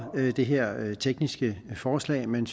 det her tekniske forslag men